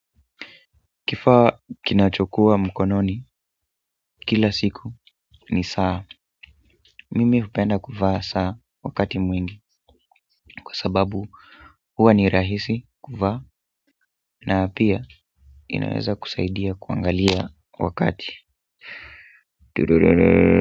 Kifaa kinachokuwa mkononi kila siku ni saa, mimi hupenda kuvaa saa wakati mwingi kwa sababu hua ni rahisi kuvaa na pia inaweza kusaidia kuangalia wakati.